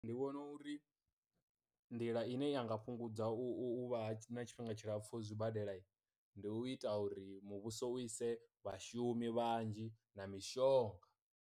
Ndi vhona uri nḓila ine yanga fhungudza u u u vha na tshifhinga tshilapfu zwibadela, ndi u ita uri muvhuso u ise vhashumi vhanzhi na mishonga.